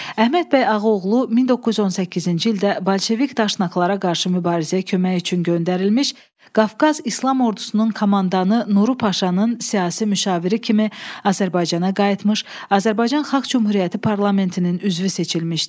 Əhməd bəy Ağaoğlu 1918-ci ildə bolşevik daşnaqlara qarşı mübarizəyə kömək üçün göndərilmiş Qafqaz İslam ordusunun komandanı Nuru Paşanın siyasi müşaviri kimi Azərbaycana qayıtmış, Azərbaycan Xalq Cümhuriyyəti Parlamentinin üzvü seçilmişdi.